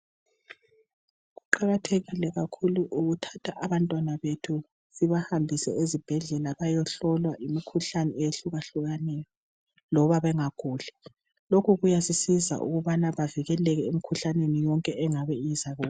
Kuqakathekile kakhulu ukuthatha abantwana bethu sibahambise ezibhedlela bayehlolwa imikhuhlane eyehlukahlukeneyo loba bengaguli. Lokhu kuyasisiza ukubana bavikeleke emikhuhlaneni yonke engaba izakubo.